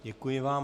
Děkuji vám.